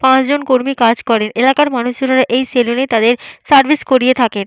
পাঁচজন কর্মী কাজ করেন। এলাকার মানুষেরা এই সেলুন এ তাদের সার্ভিস করিয়ে থাকেন।